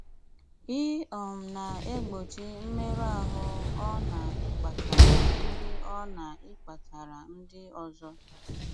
Í um na-égbóchí mmérụ áhụ ọ ná-íkpátárá ndị ọ ná-íkpátárá ndị ọzọ.